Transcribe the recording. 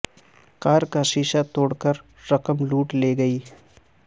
کار کا شیشہ توڑ کر رقم لوٹ لی گئی